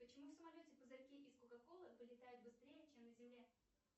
почему в самолете пузырьки из кока колы вылетают быстрее чем на земле